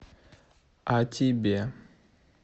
а тебе